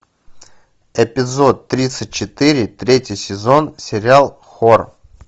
эпизод тридцать четыре третий сезон сериал хор